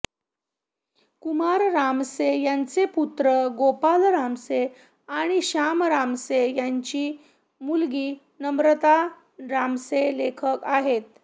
कुमार रामसे यांचे पुत्र गोपाल रामसे आणि श्याम रामसे यांची मुलगी नम्रता रामसे लेखक आहेत